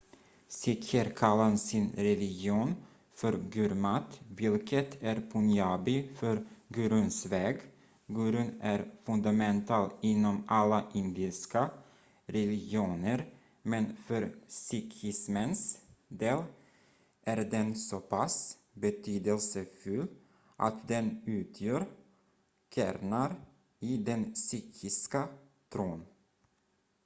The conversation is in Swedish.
"sikher kallar sin religion för gurmat vilket är punjabi för "guruns väg"". gurun är fundamental inom alla indiska religioner men för sikhismens del är den så pass betydelsefull att den utgör kärnan i den sikhiska tron.